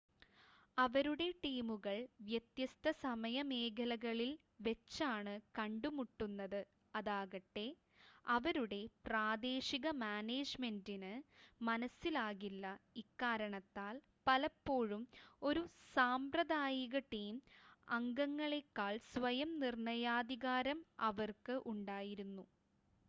അവരുടെ ടീമുകൾ വ്യത്യസ്ത സമയ മേഖലകളിൽവെച്ചാണ് കണ്ടുമുട്ടുന്നത് അതാകട്ടെ അവരുടെ പ്രാദേശിക മാനേജ്മെന്റിന് മനസ്സിലാകില്ല ഇക്കാരണത്താൽ, പലപ്പോഴും ഒരു സാമ്പ്രദായിക ടീം അംഗങ്ങളേക്കാൾ സ്വയം നിർണ്ണയാധികാരം അവർക്ക് ഉണ്ടായിരുന്നു